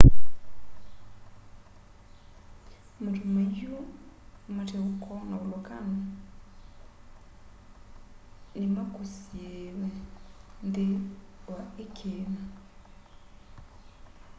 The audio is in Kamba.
matu maiu mate uko na volokano ni makusiiiwe nthi wa i kiima